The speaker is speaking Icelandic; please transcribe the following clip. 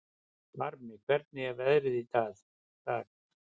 Varmi, hvernig er veðrið í dag?